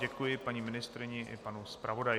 Děkuji paní ministryni i panu zpravodaji.